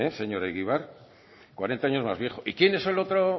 señor egibar cuarenta años más viejo y quién es el otro